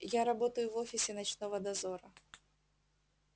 я работаю в офисе ночного дозора